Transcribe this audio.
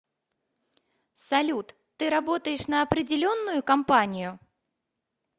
салют ты работаешь на определенную компанию